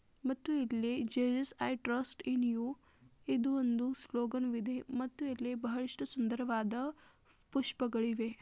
ದೆ ಮತ್ತು ಇಲ್ಲಿ Jesus I trust in you ಇದು ಒಂದು ಸ್ಲೋಗನವಿದೆ ಮತ್ತು ಇಲ್ಲಿ ಬಹಳಷ್ಟು ಸುಂದರವಾದ ಪುಷ್ಪ--